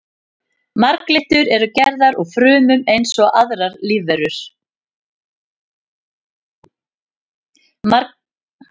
Marglyttur eru gerðar úr frumum eins og aðrar lífverur.